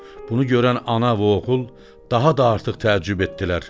Bunu görən ana və oğul daha da artıq təəccüb etdilər.